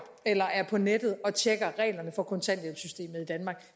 eller er på nettet og tjekker reglerne for kontanthjælpssystemet i danmark